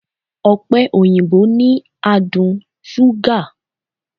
Ọ̀pẹ-òyìnbó ni adùn ṣúgà